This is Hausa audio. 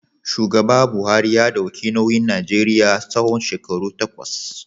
Shugaba Buhari ya dauki nauyin Najeriya tsawon shekaru takwas.